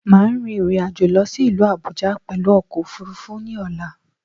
Máà rin ìrìnàjò lọ sí ìlú Àbújá pẹ̀lú ọkò òfurufú ní ọ̀la